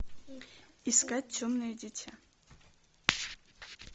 искать темное дитя